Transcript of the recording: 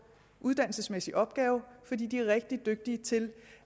uddannelsesmæssig opgave fordi de er rigtig dygtige til